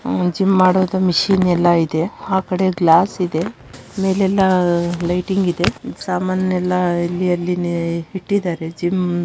gym ಮಾಡೋದು machine ಎಲ್ಲಾ ಇದೆ ಆ ಕಡೆ ಗ್ಲಾಸ್‌ ಇದೆ ಮೇಲೆಲ್ಲಾ ಲೈಟಿಂಗ್‌ ಇದೆ ಸಾಮಾನುಗಳನ್ನೆಲ್ಲಾ ಅಲ್ಲಿ ಇಲ್ಲಿ ಇಟ್ಟಿದ್ದಾರೆ ಜಿಮ್‌ --